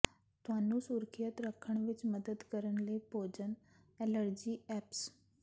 ਤੁਹਾਨੂੰ ਸੁਰੱਖਿਅਤ ਰੱਖਣ ਵਿੱਚ ਮਦਦ ਕਰਨ ਲਈ ਭੋਜਨ ਐਲਰਜੀ ਐਪਸ